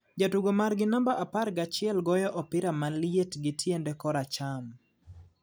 ,jatugo mar gi namba par gachiel goyo opira maliet gi tiende kora cham ,